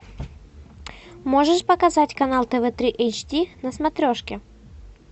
можешь показать канал тв три эйч ди на смотрешке